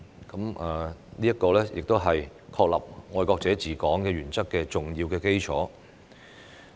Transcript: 這是確立"愛國者治港"原則的重要基礎。